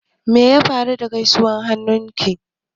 Me ya faru da guiwar hannunka?